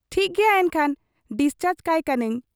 ᱴᱷᱤᱠ ᱜᱮᱭᱟ ᱮᱱᱠᱷᱟᱱ ᱰᱤᱥᱪᱟᱨᱡᱽ ᱠᱟᱭ ᱠᱟᱹᱱᱟᱹᱧ ᱾